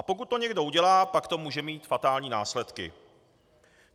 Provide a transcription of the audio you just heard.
A pokud to někdo udělá, pak to může mít fatální následky.